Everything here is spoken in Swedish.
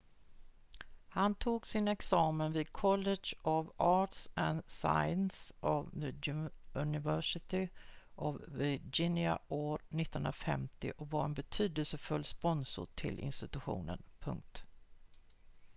han tog sin examen vid college of arts & sciences of the university of virginia år 1950 och var en betydelsefull sponsor till institutionen